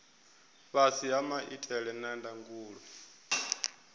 fhasi ha maitele a ndangulo